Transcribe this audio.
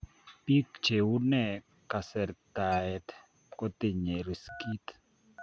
Biik cheunee kasertaet kotinyee riskit